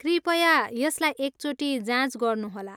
कृपया यसलाई एकचोटि जाँच गर्नुहोला।